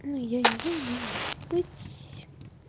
ну я не знаю но может быть